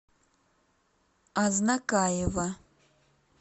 азнакаево